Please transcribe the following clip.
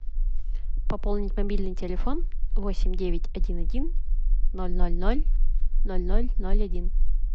пополнить мобильный телефон восемь девять один один ноль ноль ноль ноль ноль ноль один